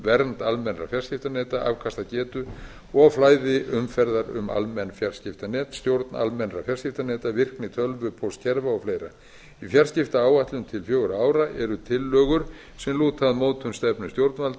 vernd almennra fjarskiptaneta afkastagetu og flæði umferðar um almenn fjarskiptanet stjórn almennra fjarskiptaneta virkni tölvupóstkerfa og fleira í fjarskiptaáætlun til fjögurra ára eru tillögur sem lúta að stefnu stjórnvalda